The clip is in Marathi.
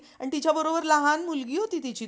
आणि तिच्या बरोबर लहान मुलगी होती तिची दोन्ही पडल्या हो